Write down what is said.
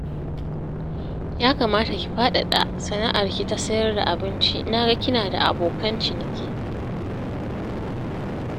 Ya kamata ki faɗaɗa sana'arki ta sayar da abinci na ga kina da abokan ciniki